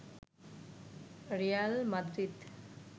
Real Madrid